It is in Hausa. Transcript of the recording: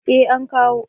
Eh an kawo